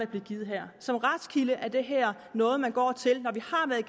bliver givet her som retskilde er det her noget man går til